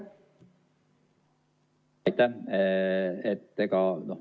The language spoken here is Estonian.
Aitäh!